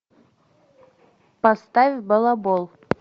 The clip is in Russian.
поставь балабол